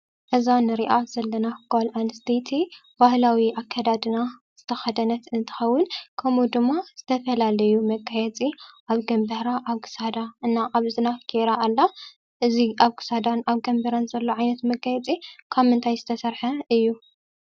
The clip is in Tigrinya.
እዛ ንሪኣ ዘለና ጓል ኣንስተይቲ ባህላዊ ኣከዳድና ዝተከደነት እንትከውን ከምኡ ድማ ዝተፈላለዩ መጋየፂ ኣብ ግምባራ ፣ ኣብ ክሳዳ እና ኣብ እዝና ገይራ ኣላ። እዚ ኣብ ክሳዳን ኣብ ግምባራን ዘሎ ዓይነት መጋየፂ ካብ ምንታይ ዝተሰርሐ እዩ?